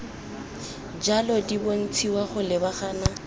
jalo di bontshiwa go lebagana